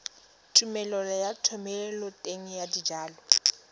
tumelelo ya thomeloteng ya dijalo